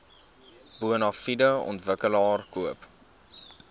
bonafide ontwikkelaar koop